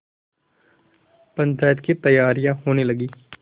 पंचायत की तैयारियाँ होने लगीं